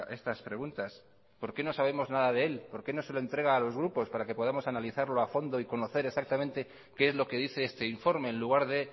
estas preguntas por qué no sabemos nada de él por qué no se lo entrega a los grupos para que podamos analizarlo a fondo y conocer exactamente qué es lo que dice este informe en lugar de